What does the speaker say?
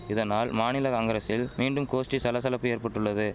இதனால் மாநில காங்கிரசில் மீண்டும் கோஷ்டி சலசலப்பு ஏற்பட்டுள்ளது